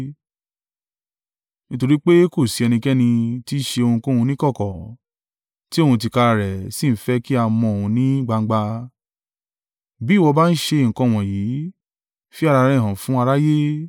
Nítorí pé kò sí ẹnikẹ́ni tí í ṣe ohunkóhun níkọ̀kọ̀, tí òun tìkára rẹ̀ sì ń fẹ́ kí a mọ òun ní gbangba. Bí ìwọ bá ń ṣe nǹkan wọ̀nyí, fi ara rẹ hàn fún aráyé.”